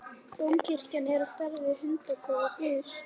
Dómkirkjan er á stærð við hundakofa guðs.